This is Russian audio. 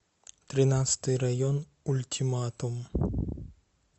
тринадцатый район ультиматум